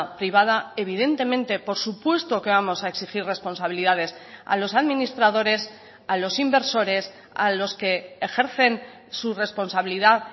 privada evidentemente por supuesto que vamos a exigir responsabilidades a los administradores a los inversores a los que ejercen su responsabilidad